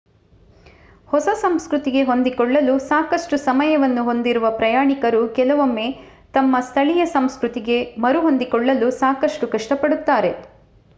ಹೊಸ ಸಂಸ್ಕೃತಿಗೆ ಹೊಂದಿಕೊಳ್ಳಲು ಸಾಕಷ್ಟು ಸಮಯವನ್ನು ಹೊಂದಿರುವ ಪ್ರಯಾಣಿಕರು ಕೆಲವೊಮ್ಮೆ ತಮ್ಮ ಸ್ಥಳೀಯ ಸಂಸ್ಕೃತಿಗೆ ಮರುಹೊಂದಿಕೊಳ್ಳಲು ಸಾಕಷ್ಟು ಕಷ್ಟಪಡುತ್ತಾರೆ